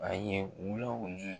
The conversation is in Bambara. A ye wula wuli.